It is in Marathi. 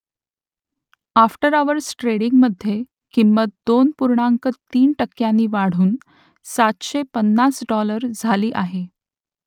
आफ्टर अवर्स ट्रेडिंगमधे किंमत दोन पूर्णांक तीन टक्क्यांनी वाढून सातशे पन्नास डॉलर झाली आहे